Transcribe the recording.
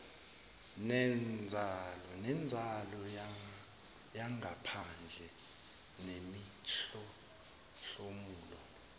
nenzalo yangaphandle nemihlomulo